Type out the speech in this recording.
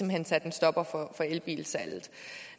hen satte en stopper for elbilsalget